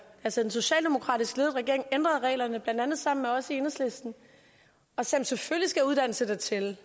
altså den socialdemokratisk ledede regering ændrede reglerne blandt andet sammen med os i enhedslisten og sagde at selvfølgelig skal uddannelse da tælle